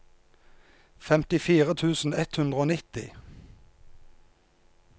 femtifire tusen ett hundre og nitti